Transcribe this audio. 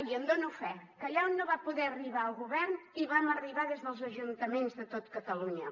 i en dono fe que allà on no va poder arribar el govern hi vam arribar des dels ajuntaments de tot catalunya